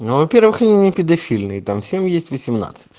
ну во-первых я не педофильный и там всем есть восемнадцать